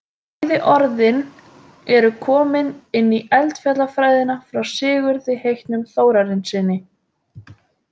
Bæði orðin eru komin inn í eldfjallafræðina frá Sigurði heitnum Þórarinssyni.